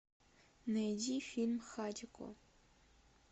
найди фильм хатико